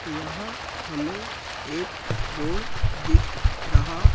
यहां हमें एक रोड दिख रहा--